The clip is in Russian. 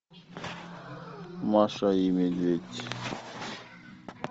маша и медведь